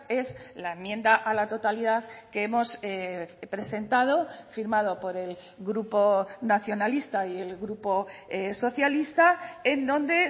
es la enmienda a la totalidad que hemos presentado firmado por el grupo nacionalista y el grupo socialista en donde